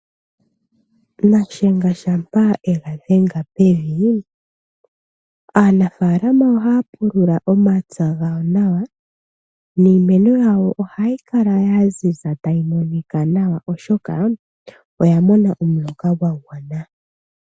Nashenga shampa ega dhenga pevi, aanafaalama ohaya pulula omapya gawo nawa, niimeno yawo ohayi kala ya ziza tayi monika nawa, oshoka oya mona omuloka gwa gwana.